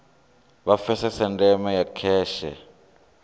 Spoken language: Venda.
vha pfesese ndeme ya kheshe